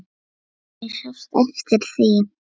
Guðný: Sástu eftir því?